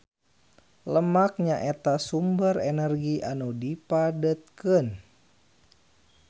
Lemak nyaeta sumber energi anu dipadetkeun.